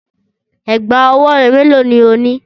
Ẹ̀gbá-ọwọ́ mélòó ni o ní?